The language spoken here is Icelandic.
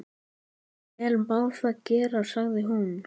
Vel má það vera, sagði hún.